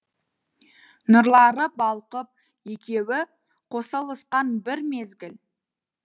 нұрлары балқып екеуі қосылысқан бір мезгіл